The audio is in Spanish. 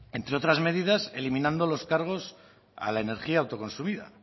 entre otras medidas eliminando los cargos a la energía autoconsumida